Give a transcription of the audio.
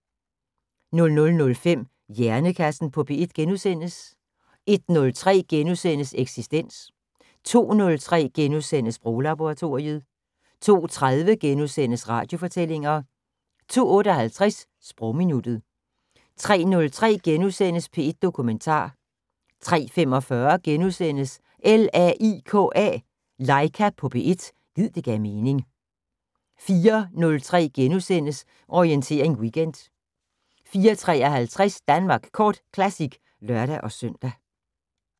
00:05: Hjernekassen på P1 * 01:03: Eksistens * 02:03: Sproglaboratoriet * 02:30: Radiofortællinger * 02:58: Sprogminuttet 03:03: P1 Dokumentar * 03:45: LAIKA på P1 – gid det gav mening * 04:03: Orientering Weekend * 04:53: Danmark Kort Classic (lør-søn)